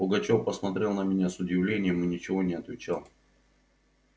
пугачёв посмотрел на меня с удивлением и ничего не отвечал